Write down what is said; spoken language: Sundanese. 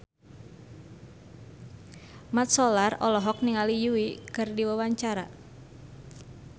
Mat Solar olohok ningali Yui keur diwawancara